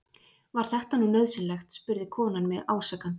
Var þetta nú nauðsynlegt? spurði konan mig ásakandi.